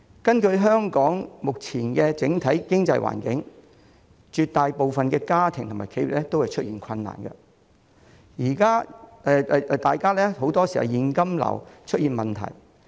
綜觀香港目前整體經濟環境，絕大部分家庭和企業也出現困難，很多時也有現金流的問題。